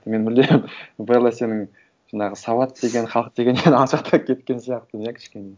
мен мүлдем белла сенің жаңағы сауат деген халық дегеннен алшақтап кеткен сияқтымын иә кішкене